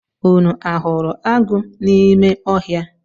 Unu a hụrụ agụ n’ime ọhịa?